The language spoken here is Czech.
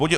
Bod